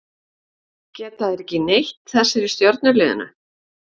Geta þeir ekki neitt þessir í stjörnuliðinu?